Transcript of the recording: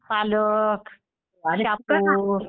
पालक, शेपू